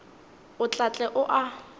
o tla tle o a